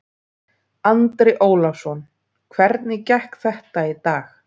Andri Ólafsson: Hvernig gekk þetta í dag?